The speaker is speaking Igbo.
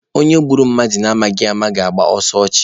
Onye gburu mmadụ na amaghị ama na-agba ọsọ ọchụ.